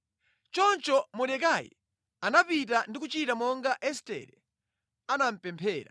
Choncho Mordekai anapita ndi kuchita monga Estere anamupemphera.